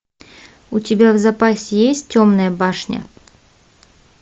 у тебя в запасе есть темная башня